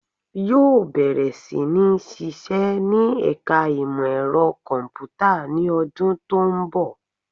Yóò bẹ̀rẹ̀ sí ní sisẹ́ ní ẹ̀ka ìmọ ẹ̀rọ kọ̀m̀pútà ní ọdún tó ń bọ̀